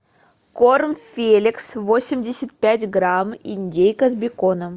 корм феликс восемьдесят пять грамм индейка с беконом